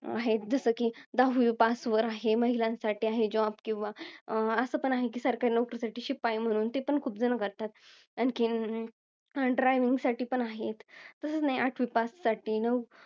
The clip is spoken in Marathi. आहेत. जसं कि दहावी pass वर आहे, महिलांसाठी आहे, job किंवा असं पण आहे कि सरकारी नोकरीसाठी शिपाई म्हणून. ते पण खूप जण करतात. आणखीन, driving साठी पण आहे. तसच नाही, आठवी pass साठी, नऊ